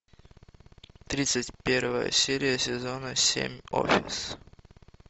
тридцать первая серия сезона семь офис